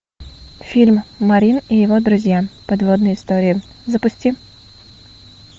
фильм марин и его друзья подводные истории запусти